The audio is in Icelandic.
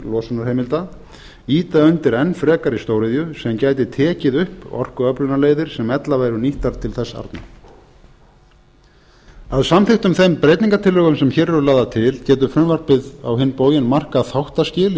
losunarheimilda ýta undir enn frekari stóriðju sem gæti tekið upp orkuöflunarleiðir sem ella væru nýttar til þess arna að samþykktum þeim breytingartillögum sem hér eru lagðar til getur frumvarpið á hinn bóginn markað þáttaskil